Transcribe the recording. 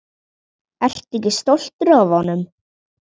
Ertu ekki stoltur af honum?